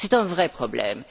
C'est un vrai problème.